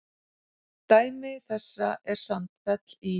Dæmi þessa er Sandfell í